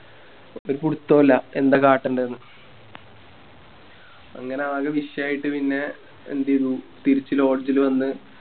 ഒരു പിടിത്തോ ഇല്ല എന്താ കട്ടണ്ടെന്ന് അങ്ങനെ ആകെ വിഷയായിട്ട് പിന്നെ എന്തെയ്തു തിരിച്ച് Lodge ല് വന്ന്